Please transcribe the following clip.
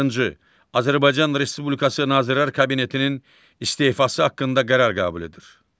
Azərbaycan Respublikası Nazirlər Kabinetinin istefası haqqında qərar qəbul edir.